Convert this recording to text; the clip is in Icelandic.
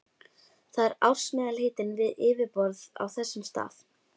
Það er ársmeðalhitinn við yfirborð á þessum stað.